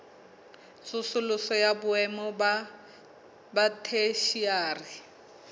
tsosoloso ya boemo ba theshiari